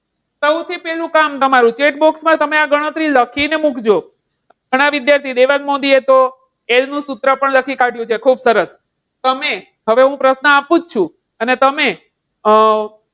સૌથી પહેલાં કામ તમારુ chat box માં આ ગણતરી તમે લખીને મુકજો. ઘણા વિદ્યાર્થીઓ દેવાંગ મોદીએ તો L નું સૂત્ર પણ લખી નાખ્યું છે ખુબ સરસ તમે હવે હું પ્રશ્ન આપું છું અને તમે અમ